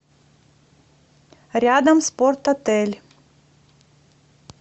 рядом спортотель